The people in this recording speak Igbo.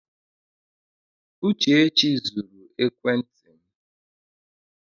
Uchechi zuru ekwenti m.